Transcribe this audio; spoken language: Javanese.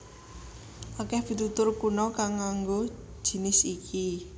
Akèh pitutur kuna kang nganggo jinis iki